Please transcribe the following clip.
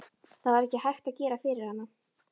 Það var ekkert hægt að gera fyrir hana.